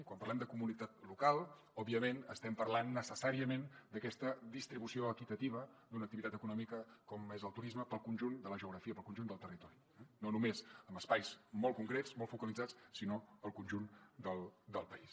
quan parlem de comunitat local òbviament estem parlant necessàriament d’aquesta distribució equitativa d’una activitat econòmica com és el turisme per al conjunt de la geografia per al conjunt del territori no només en espais molt concrets molt focalitzats sinó al conjunt del país